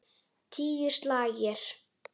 Tíu slagir.